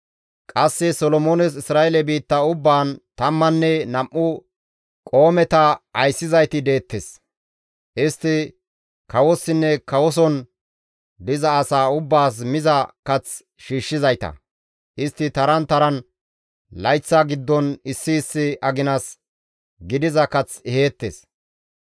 Qasse Solomoones Isra7eele biitta ubbaan tammanne nam7u dereta ayssizayti deettes; istti kawossinne kawoson diza asaa ubbaas miza kath shiishshizayta; istti taran taran layththa giddon issi issi aginas gidiza kath eheettes.